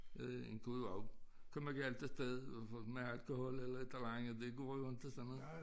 Øh en kunne jo også komme galt afsted i hvert fald med alkohol det går jo inte sådan noget